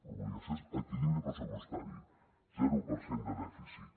l’obligació és equilibri pressupostari zero per cent de dèficit